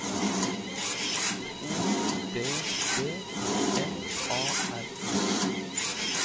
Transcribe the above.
O D D M A R